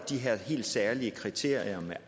de her helt særlige kriterier om